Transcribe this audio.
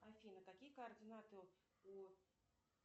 афина какие координаты у